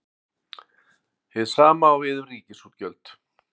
Hið sama á við um ríkisútgjöld.